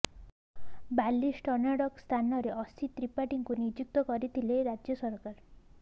ବାଲ୍କ୍ରିଷ୍ଣନ୍ଙ୍କ ସ୍ଥାନରେ ଅସିତ୍ ତ୍ରିପାଠୀଙ୍କୁ ନିଯୁକ୍ତ କରିଥିଲେ ରାଜ୍ୟ ସରକାର